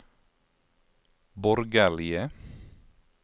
borgerlige